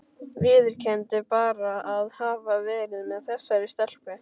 Viðurkenndu bara að hafa verið með þessari stelpu?